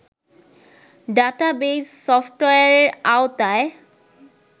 database সফটওয়্যারের আওতায়